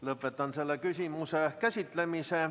Lõpetan selle küsimuse käsitlemise.